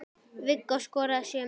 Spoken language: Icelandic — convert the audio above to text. Viggó skoraði sjö mörk.